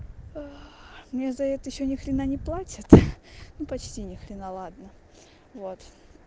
мне за это ещё ни хрена не платят ну почти ни хрена ладно вот